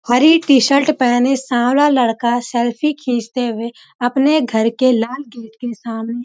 हरी T shirt पहने सांवला लड़का सेल्फ़ी खींचते हुए अपने घर के लाल गेट के सामने --